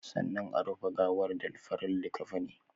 Sannan a rufe gawar da farin likkafini